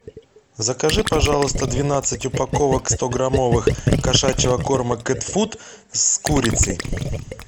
закажи пожалуйста двенадцать упаковок стограммовых кошачьего корма кэтфуд с курицей